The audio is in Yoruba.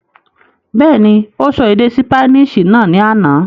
Bẹ́ẹ̀ni, ó sọ èdè ṣípánísì náà ní àná.